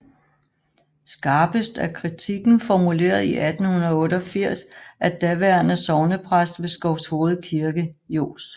Skarpest er kritikken formuleret i 1988 af daværende sognepræst ved Skovshoved Kirke Johs